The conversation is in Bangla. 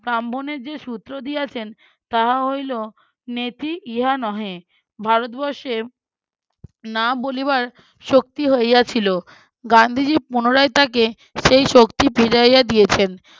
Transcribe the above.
ব্রাহ্ম্নের যে সূত্র দিয়েছেন তাহা হইল নেতি ইহা নহে। ভারতবর্ষে না বলিবার শক্তি হইয়াছিল। গান্ধীজি পুনরায় তাকে সেই শক্তি ফিরাইয়া দি্ছেযেন।